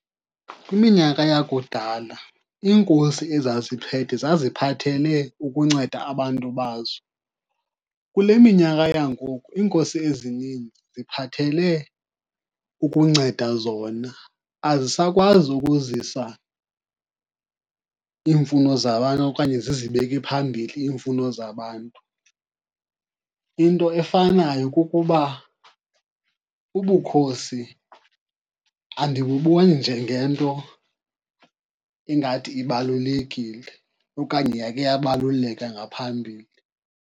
Kwiminyaka yakudala, iinkosi ezaziphethe zaziphathele ukunceda abantu bazo. Kule minyaka yangoku iinkosi ezininzi ziphathele ukunceda zona, azisakwazi ukuzisa iimfuno zabantu okanye zizibeke phambili iimfuno zabantu. Into efanayo kukuba ubukhosi andibuboni njengento engathi ibalulekile okanye yakhe yabaluleka ngaphambili.